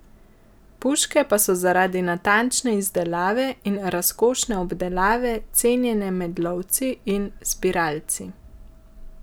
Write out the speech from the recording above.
Puške pa so zaradi natančne izdelave in razkošne obdelave cenjene med lovci in zbiralci.